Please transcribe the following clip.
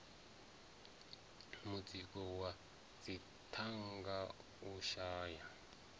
mutsiko wa dzithanga u shaya